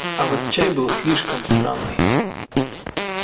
а вот чай был слишком странный